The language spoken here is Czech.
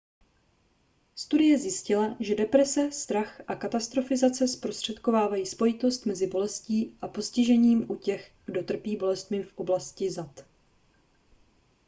studie zjistila že deprese strach a katastrofizace zprostředkovávají spojitost mezi bolestí a postižením u těch kdo trpí bolestmi v dolní oblasti zad